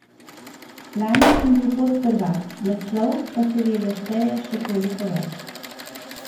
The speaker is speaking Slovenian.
Lani sem bil podprvak, naslov pa seveda šteje še toliko več.